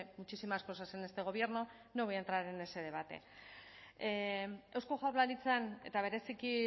muchísimas cosas en este gobierno no voy a entrar en ese debate eusko jaurlaritzan eta bereziki